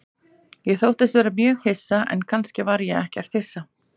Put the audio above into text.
Ég þóttist vera mjög hissa, en kannski var ég ekkert hissa.